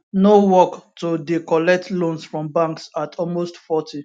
no work to dey collect loans from banks at almost 40